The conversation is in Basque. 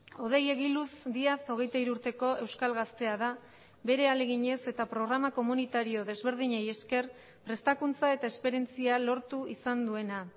hodei egiluz díaz hogeita hiru urteko euskal gaztea da bere ahaleginez eta programa komunitario desberdinei esker prestakuntza eta esperientzia lortu izan duena